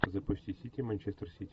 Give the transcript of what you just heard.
запусти сити манчестер сити